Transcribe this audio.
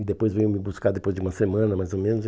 E depois veio me buscar depois de uma semana, mais ou menos.